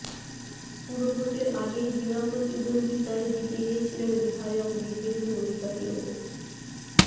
পুরভোটের আগেই বিনা প্রতিদ্বন্দ্বিতায় জিতে গিয়েছিলেন বিধায়ক দিব্যেন্দু অধিকারী ও